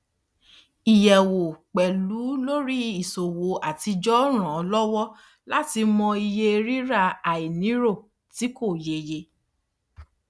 ìyẹwò pẹlú lórí àwọn ìṣòwò atijọ ń ràn án lọwọ láti mọ ìṣe rírà àìnírò tí kò yéye